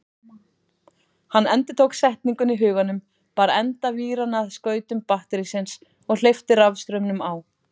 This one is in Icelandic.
Hann endurtók setninguna í huganum, bar enda víranna að skautum batterísins og hleypti rafstraumnum á.